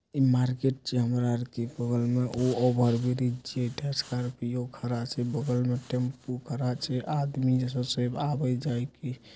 ए market छे over bridge छे Scorpio खड़ा छे बगल में टेम्पो खड़ा छे आदमी आवे जीके --